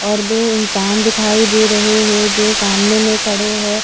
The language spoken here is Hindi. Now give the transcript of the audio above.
और दो इंसान दिखाई दे रहे हे जो सामने में खड़े है।